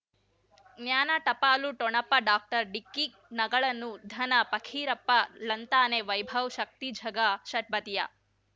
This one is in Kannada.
ಜ್ಞಾನ ಟಪಾಲು ಠೊಣಪ ಡಾಕ್ಟರ್ ಢಿಕ್ಕಿ ಣಗಳನು ಧನ ಫಕೀರಪ್ಪ ಳಂತಾನೆ ವೈಭವ್ ಶಕ್ತಿ ಝಗಾ ಷಟ್ಪದಿಯ